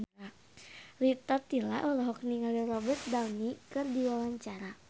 Rita Tila olohok ningali Robert Downey keur diwawancara